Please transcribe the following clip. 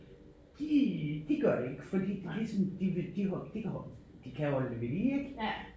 De de gør ikke fordi de ligesom de vil de de kan holde de kan holde det ved lige ik